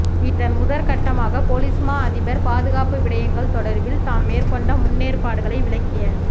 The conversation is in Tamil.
இதன் முதற்கட்டமாக பொலிஸ்மா அதிபர் பாதுகாப்பு விடயங்கள் தொடர்பில் தாம் மேற்கொண்ட முன்னேற்பாடுகளை விளக்கிய